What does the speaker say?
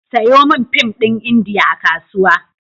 Sayo min fim ɗin Indiya a Kasuwa.